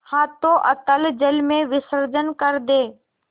हाथों अतल जल में विसर्जन कर दे